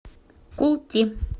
култи